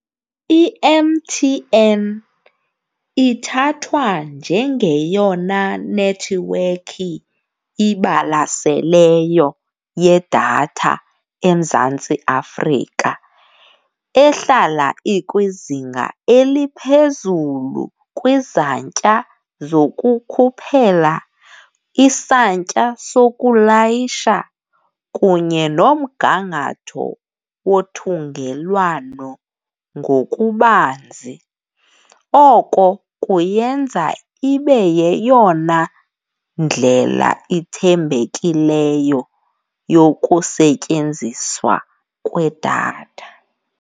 IM_T_N ithathwa njengeyona nethiwekhi ibalaseleyo yedatha eMzantsi Afrika ehlala ikwizinga eliphezulu kwizantya zokukhuphela, isantya sokulayisha kunye nomgangatho wothungelwano ngokubanzi. Oko kuyenza ibe yeyona ndlela ithembekileyo yokusetyenziswa kwedatha.